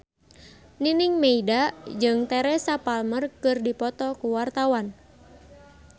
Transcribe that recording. Nining Meida jeung Teresa Palmer keur dipoto ku wartawan